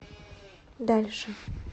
дальше